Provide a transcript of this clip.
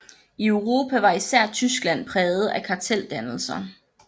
I Europa var især Tyskland præget af karteldannelser